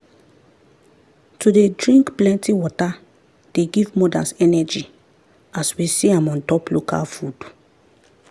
to dey drink plenty water dey give mothers energy as we see am untop local food.